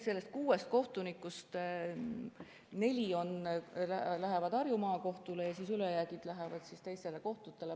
Sellest kuuest kohtunikust neli lähevad Harju Maakohtule ja ülejäänud lähevad teistele kohtutele.